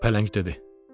Pələng dedi: